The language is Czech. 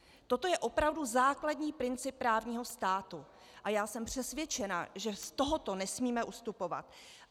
Toto je opravdu základní princip právního státu a já jsem přesvědčena, že z tohoto nesmíme ustupovat.